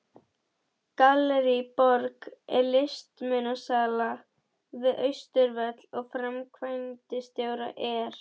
Gallerí Borg er listmunasala við Austurvöll og framkvæmdastjóri er